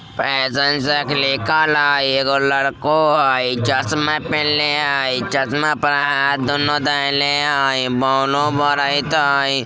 Fashion सेक लिखल हेय एगो लड़को हेय चश्मा पीहिंले हेय चश्मा पर हाथ दोनों धेले हैं बोलो बरेत हेय।